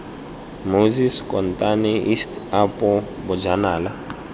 moses kotane east apo bojanala